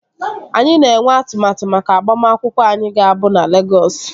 Anyị na-enwe atụmatụ maka agbamakwụkwọ anyị ga-abụ na Legọs